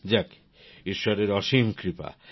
যাক ঈশ্বরের অসীম কৃপা